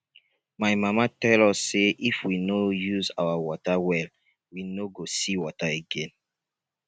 my mama tell us say if we no use our water well we no go see water again